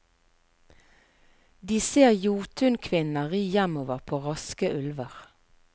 De ser jotunkvinner ri hjemover på raske ulver.